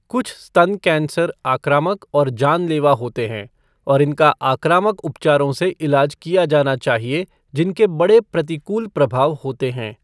कुछ स्तन कैंसर आक्रामक और जानलेवा होते हैं, और इनका आक्रामक उपचारों से इलाज किया जाना चाहिए जिनके बड़े प्रतिकूल प्रभाव होते हैं।